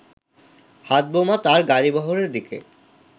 হাতবোমা তার গাড়িবহরের দিকে